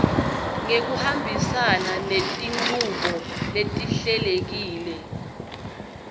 ngekuhambisana netinchubo letihlelekile